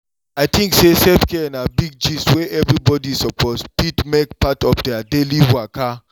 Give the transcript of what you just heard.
i tink sey self-care na big gist wey everybody suppose fit make part of their daily waka.